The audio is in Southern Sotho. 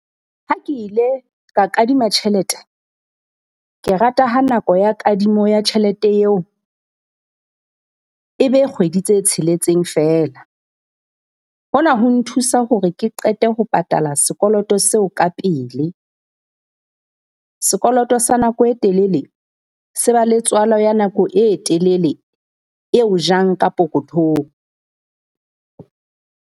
Ha ke ile ka kadima tjhelete, ke rata ha nako ya kadimo ya tjhelete eo e be kgwedi tse tsheletseng feela. Hona ho nthusa hore ke qete ho patala sekoloto seo ka pele. Sekoloto sa nako e telele se ba le tswala ya nako e telele eo jang ka pokothong.